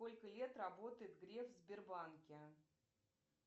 сколько лет работает греф в сбербанке